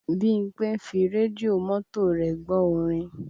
Bímpé ń fi rédíò mọ́tò rẹ̀ gbọ́ orin